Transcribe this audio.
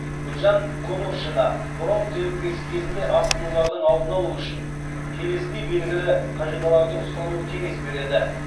гүлжан конуршина бронх демікпесі кезінде асқынулардың алдын алу үшін келесідей белгілі қағидаларды ұстануға кеңес береді